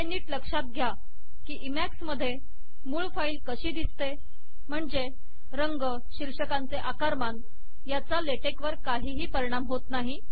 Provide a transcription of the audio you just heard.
हे नीट लक्षात घ्या की इमॅक्स मधे मूळ फाइल कशी दिसते म्हणजे रंग शीर्षकांचे आकारमान याचा लेटेक वर काहीही परिणाम होत नाही